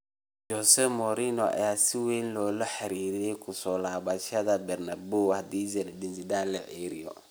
Jose Mourinho ayaa si weyn loola xiriirinayaa ku soo laabashada Bernabeu hadii Zidane la ceyriyo.